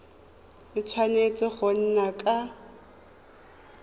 a tshwanetse go nna ka